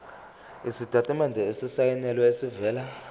isitatimende esisayinelwe esivela